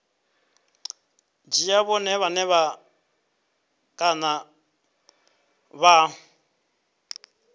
dzhia vhone vhane kana vha